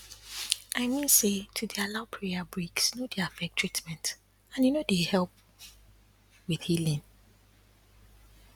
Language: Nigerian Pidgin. i mean say to dey allow prayer breaks no dey affect treament and e no dey help with healing